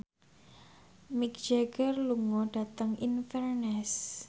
Mick Jagger lunga dhateng Inverness